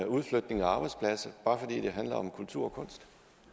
udflytning af arbejdspladser når det handler om kultur og kunst